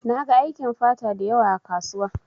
Na gan aikin fata dayawa ã kasuwa.